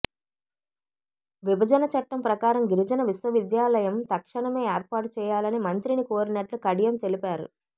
విభజన చట్టం ప్రకారం గిరిజన విశ్వవిద్యాలయం తక్షణమే ఏర్పాటు చేయాలని మంత్రిని కోరినట్లు కడియం తెలిపారు